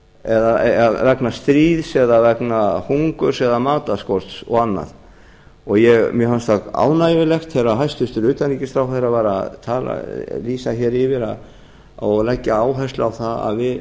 mikið stríð vegna stríðs eða vegna hungurs eða matarskorts og annars mér fannst það ánægjulegt þegar hæstvirtur utanríkisráðherra var að lýsa hér yfir og leggja áherslu á það